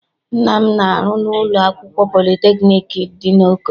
Nna m na-arụ na ụlọ akwụkwọ politekniik dị n'Oko.